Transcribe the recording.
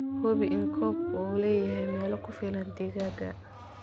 Hubi in coop-ku uu leeyahay meel ku filan digaagga.